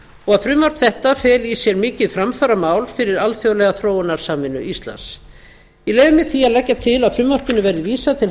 og að frumvarp þetta feli í sér mikið framfaramál fyrir alþjóðlega þróunarsamvinnu íslands ég leyfi mér því að leggja til að frumvarpinu verði vísað til